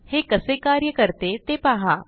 हे कसे कार्य करते ते पहा